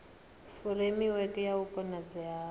furemiweke ya u konadzea ha